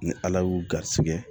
Ni ala y'u garisigɛ